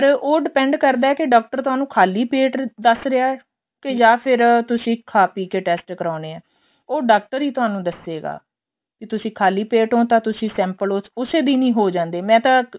ਪਰ ਉਹ depend ਕਰਦਾ ਏ ਕੀ ਡਾਕਟਰ ਤੁਹਾਨੂੰ ਖ਼ਾਲੀ ਪੇਟ ਦੱਸ ਰਿਹਾ ਜਾਂ ਫ਼ਿਰ ਤੁਸੀਂ ਖਾ ਪੀ ਕੇ test ਕਰਾਉਣੇ ਏ ਉਹ ਡਾਕਟਰ ਹੀ ਤੁਹਾਨੂੰ ਦੱਸੇਗਾ ਕੀ ਤੁਸੀਂ ਖ਼ਾਲੀ ਪੇਟ ਹੋ ਤਾਂ ਤੁਸੀਂ sample ਉਸੇ ਦਿਨ ਹੀ ਹੋ ਜਾਂਦੇ ਏ ਮੈਂ ਤਾਂ